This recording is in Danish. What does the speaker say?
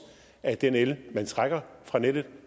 af den el man trækker fra nettet